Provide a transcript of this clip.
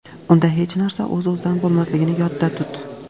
unda hech narsa o‘z-o‘zidan bo‘lmasligini yodda tut.